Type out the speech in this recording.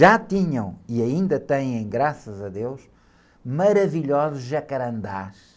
Já tinham, e ainda têm, graças a deus, maravilhosos jacarandás.